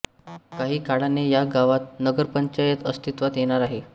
काही काळाने या गावात नगरपंचायत अस्तित्वात येणार आहे